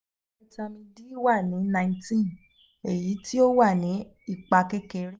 vitamin d wa ni nineteen eyi ti o wa ni ipa kekere